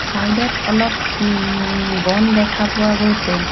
Side ত অলপ উম বন দেখা পোৱা গৈছে।